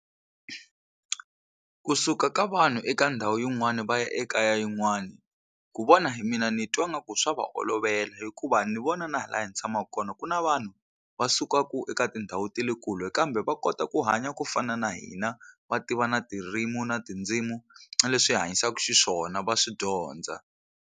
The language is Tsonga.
Ku suka ka vanhu eka ndhawu yin'wani va ya eka ya yin'wani ku vona hi mina ni twa nga ku swa va olovela hikuva ni vona na hi laha ni tshamaka kona ku na vanhu va sukaka eka tindhawu ta le kule kambe va kota ku hanya ku fana na hina va tiva na tirimi na tindzimu na leswi hi hanyisaka xiswona va swi dyondza.